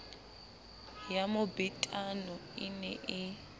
ya mobetano e ne e